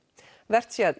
vert sé að